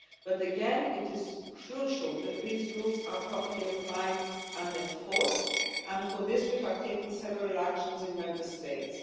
trade. But again, it is crucial that these rules are properly applied and enforced, and for this we have taken several actions in Member States.